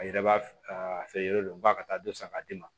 A yɛrɛ b'a a feere yɔrɔ ba ka taa dɔ san k'a d'i ma